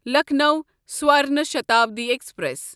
Lucknow Swarna Shatabdi express